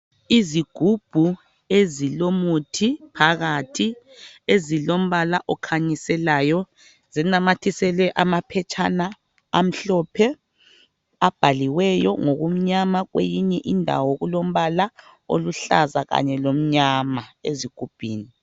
Izigubhu ezilomuthi phakathi ezilombala okhanyiselayo zinamathiselwe amaphetshana amhlophe abhaliweyo ngokumnyama kweyinye indawo kulombala oluhlaza kanye lokumnyama ezigubhini.